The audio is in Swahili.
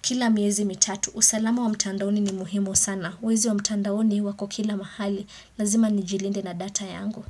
kila miezi mitatu, usalama wa mtandaoni ni muhimu sana, wezi wa mtandaoni wako kila mahali, lazima nijilinde na data yangu.